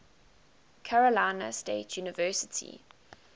carolina state university